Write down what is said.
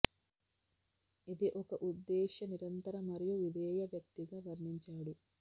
ఇది ఒక ఉద్దేశ్య నిరంతర మరియు విధేయ వ్యక్తి గా వర్ణించాడు